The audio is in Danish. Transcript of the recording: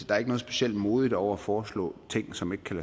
der er noget specielt modigt over at foreslå ting som ikke kan